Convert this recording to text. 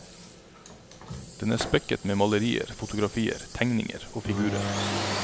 Den er spekket med malerier, fotografier, tegninger og figurer.